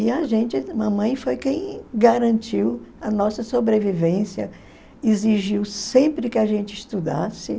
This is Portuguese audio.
E a gente, a mamãe, foi quem garantiu a nossa sobrevivência, exigiu sempre que a gente estudasse.